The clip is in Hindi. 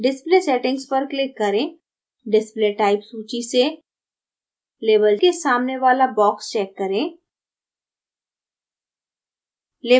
display settings पर click करें: display types सूची से label के सामने वाला box check करें